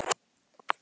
Hvað hrjáir þig?